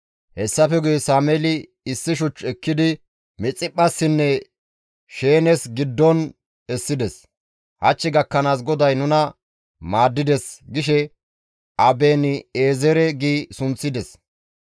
Hessafe guye Sameeli issi shuch ekkidi Mixiphphassinne Sheenes giddon essides; «Hach gakkanaas GODAY nuna maaddides» gishe Aben7eezere gi sunththides.